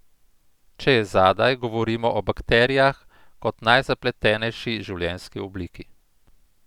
Če je zadaj, govorimo o bakterijah kot najzapletenejši življenjski obliki.